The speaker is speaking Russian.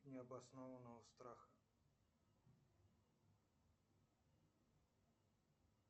необоснованного страха